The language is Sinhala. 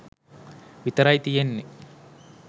විතරයි තියෙනනේ.